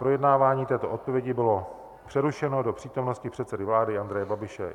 Projednávání této odpovědi bylo přerušeno do přítomnosti předsedy vlády Andreje Babiše.